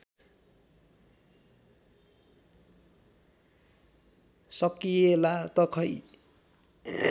सकिएला त खै